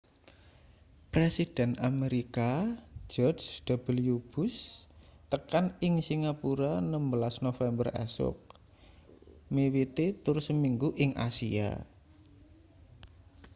presiden amerika george w bush tekan ing singapura 16 november esuk miwiti tur seminggu ing asia